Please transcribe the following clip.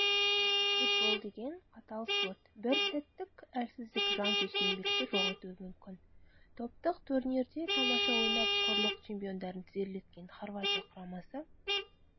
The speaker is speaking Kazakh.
футбол деген қатал спорт бір сәттік әлсіздік жанкешті еңбекті жоқ етуі мүмкін топтық турнирде тамаша ойнап құрлық чемпиондарын тізерлеткен хорватия құрамасы